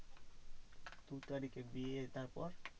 দু তারিখে বিয়ে তারপর?